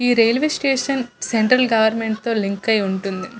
ఈ railway station central government తో link అయి ఉంటుంది.